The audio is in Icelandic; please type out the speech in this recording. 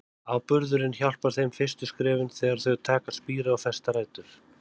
Áburðurinn hjálpar þeim fyrstu skrefin, þegar þau taka að spíra og festa rætur.